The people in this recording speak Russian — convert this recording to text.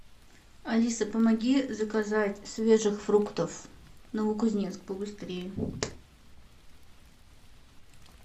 алиса помоги заказать свежих фруктов новокузнецк побыстрее